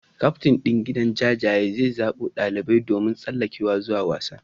Kyaftin din gidan jajayen zai zabo dalibai domin tsallakewa zuwa wasan.